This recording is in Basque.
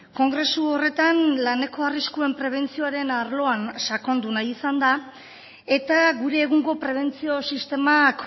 kongresu horretan laneko arriskuen prebentzioaren arloan sakondu nahi izan da eta gure egungo prebentzio sistemak